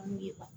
N'u ye